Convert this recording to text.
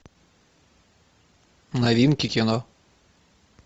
новинки кино